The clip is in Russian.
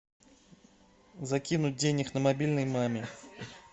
закинуть денег на мобильный маме